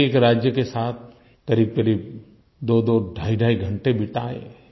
एकएक राज्य के साथ क़रीबक़रीब दोदो ढाईढाई घंटे बिताए